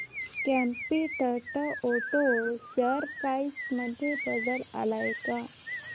competent auto share price मध्ये बदल आलाय का